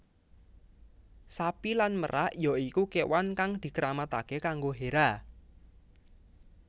Sapi lan merak ya iku kewan kang dikeramatake kanggo Hera